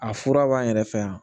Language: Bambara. A fura b'an yɛrɛ fɛ yan